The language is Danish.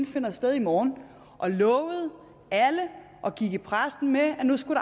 finder sted i morgen og lovede alle og gik i pressen med at nu skulle